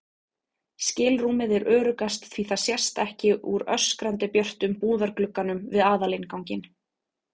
skilrúmið er öruggast því það sést ekki úr öskrandi björtum búðarglugganum við aðalinnganginn.